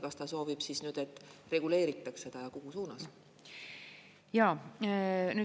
Kas ta soovib, et reguleeritaks seda, ja kuhu suunas?